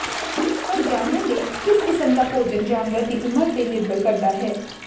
ਪਰ ਜਾਨਣ ਲਈ ਕਿਸ ਕਿਸਮ ਦਾ ਭੋਜਨ ਜਾਨਵਰ ਦੀ ਉਮਰ ਤੇ ਨਿਰਭਰ ਕਰਦਾ ਹੈ